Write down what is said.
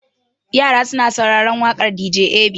Yara suna sauraren waƙar dj ab.